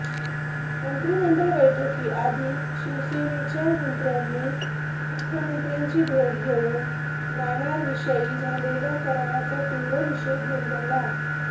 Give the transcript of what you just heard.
मंत्रिमंडळ बैठकीआधी शिवसेनेच्या मंत्र्यांनी मुख्यमंत्र्यांची भेट घेऊन नाणारविषयी झालेल्या कराराचा तीव्र निषेध नोंदवला